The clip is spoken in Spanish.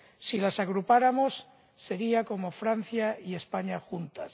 Si las agrupáramos, serían como Francia y España juntas.